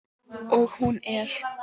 Og hún er.